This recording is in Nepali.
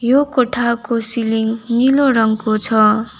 यो कोठाको सिलिङ नीलो रङको छ।